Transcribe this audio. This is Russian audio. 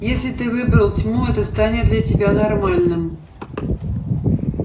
если ты выбрал тьму это станет для тебя нормальным